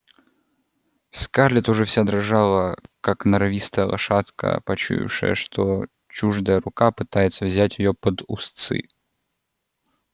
скарлетт уже вся дрожала как норовистая лошадка почуявшая что чуждая рука пытается взять её под уздцы